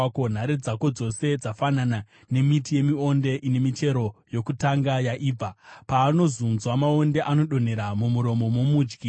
Nhare dzako dzose dzafanana nemiti yemionde ine michero yokutanga yaibva; paanozunzwa, maonde anodonhera mumuromo momudyi.